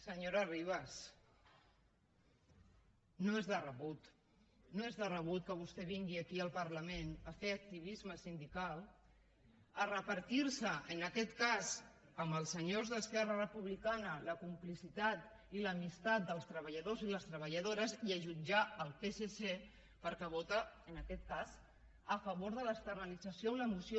senyora ribas no és de rebut no és de rebut que vostè vingui aquí al parlament a fer activisme sindical a repartir se en aquest cas amb els senyors d’esquerra republicana la complicitat i l’amistat dels treballadors i les treballadores i a jutjar el psc perquè vota en aquest cas a favor de l’externalització en la moció